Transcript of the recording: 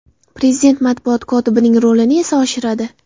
Prezident matbuot kotibining rolini esa oshiradi.